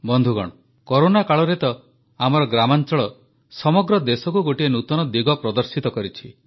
ବନ୍ଧୁଗଣ କରୋନା କାଳରେ ତ ଆମର ଗ୍ରାମାଂଚଳ ସମଗ୍ର ଦେଶକୁ ଗୋଟିଏ ନୂତନ ଦିଗ ପ୍ରଦର୍ଶିତ କରିଛି